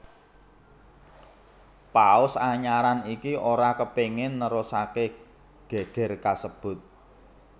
Paus anyaran iki ora kepingin nerusake geger kasebut